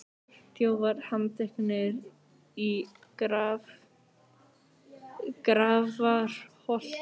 Þjófar handteknir í Grafarholti